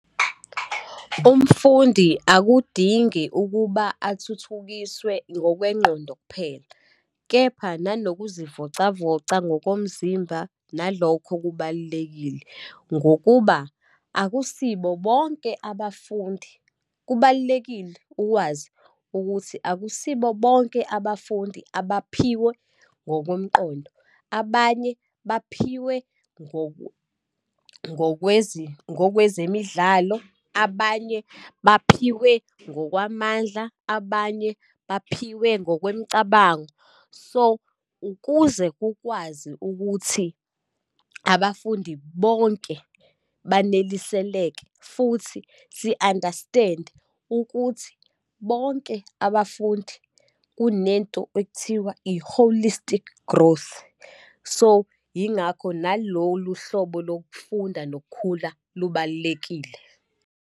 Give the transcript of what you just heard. Umfundi akudingi ukuba athuthukiswe ngokwengqondo kuphela, kepha nanokuzivocavoca ngokomzimba nalokho kubalulekile. Ngokuba akusibo bonke abafundi. Kubalulekile ukwazi ukuthi akusibo bonke abafundi abaphiwe ngokomqondo, abanye baphiwe ngokwezemidlalo, abanye baphiwe ngokwamandla, abanye baphiwe ngokwemicabango. So, ukuze kukwazi ukuthi abafundi bonke baneliseleke, futhi si-understand-e ukuthi bonke abafundi kunento ekuthiwa i-holistic growth. So, yingakho nalolu hlobo lokufunda nokukhula lubalulekile.